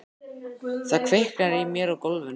Það kviknar í mér á gólfinu.